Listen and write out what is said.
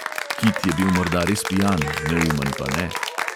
Kit je bil morda res pijan, neumen pa ne.